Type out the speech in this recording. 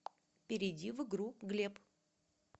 перейди в игру глеб